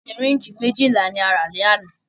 Sìrínjì méjìlá ní a rà ní àná.